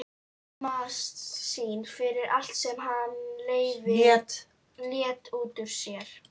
Skammast sín fyrir allt sem hann lét út úr sér.